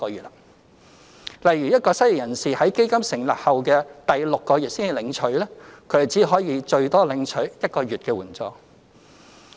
例如一個失業人士在基金成立後第六個月才領取，他便只可以最多領取1個月援助。